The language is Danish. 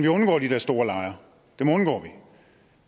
undgår de her store lejre